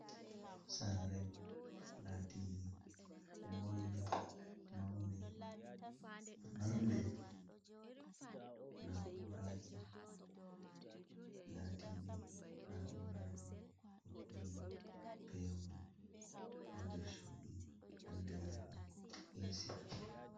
Sare latinɗe, wonɗe, mauɗe, marnɗe nauraji. Latiɗi nauraji, kokkoji pewol, ha nɗer cuɗi, anɗiraɗi esi.